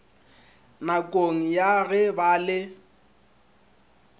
nakong ya ge ba le